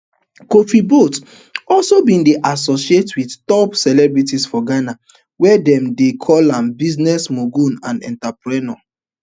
kofi boat also bin dey associated wit top celebrities for ghana wia dem don dey call am business mogul and entrepreneur